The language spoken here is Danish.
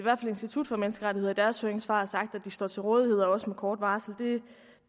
institut for menneskerettigheder i deres høringssvar har sagt at de står til rådighed og også med kort varsel